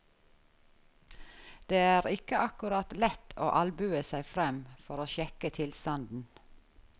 Det er ikke akkurat lett å albue seg frem for å sjekke tilstanden.